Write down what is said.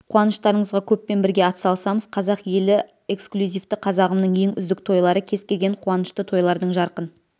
қуаныштарыңызға көппен бірге атсалысамыз қазақ елі эксклюзивті қазағымның ең үздік тойлары кез-келген қуанышты тойлардың жарқын